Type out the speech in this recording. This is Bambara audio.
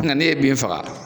N'e ye bin faga